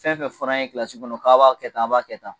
Fɛn fɛn fɔr'an ye kilasi kɔnɔ k'a b'a kɛ tan a b'a kɛ tan